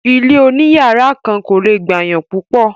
ilé òní yàrá kan kò le gbàyàn púpọ̀.